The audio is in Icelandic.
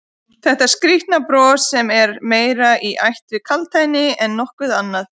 Þetta skrýtna bros sem er meira í ætt við kaldhæðni en nokkuð annað?